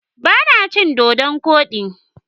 Ba na cin Dodon kodi.